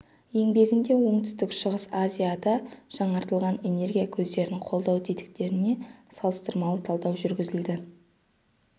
еңбегінде оңтүстік-шығыс азияда жаңартылатын энергия көздерін қолдау тетіктеріне салыстырмалы талдау жүргізілді